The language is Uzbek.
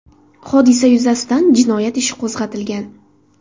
Hodisa yuzasidan jinoyat ishi qo‘zg‘atilgan.